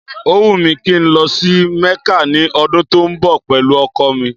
Ó wùn mí kí n lọ sí Mẹ́kà ní ọdún tó ń bọ̀ pẹ̀lú ọkọ̀ mi